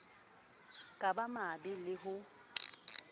ka ba mabe le ho